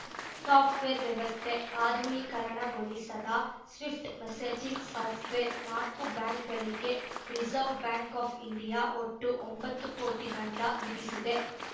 software ವ್ಯವಸ್ಥೆ ಆಧುನೀಕರಣಗೊಳಿಸದ swift messaging software ನಾಕು ಬ್ಯಾಂಕುಗಳಿಗೆ ರಿಜರ್ವ್ ಬ್ಯಾಂಕ್ ಆಫ್ ಇಂಡಿಯಾ ಒಟ್ಟು ಒಂಬತ್ತು ಕೋಟಿ ದಂಡ ವಿಧಿಸಿದೆ